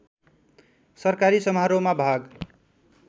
सरकारी समारोहमा भाग